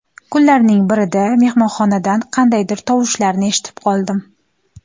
Kunlarning birida mehmonxonadan qandaydir tovushlarni eshitib qoldim.